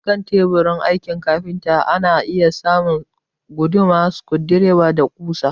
Akan teburin aikin kafinta ana iya samun guduma, sukudireba, da ƙusa